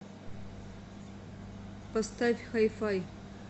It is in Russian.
поставь хай фай